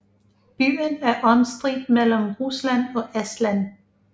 Byen er omstridt mellem Rusland og Estland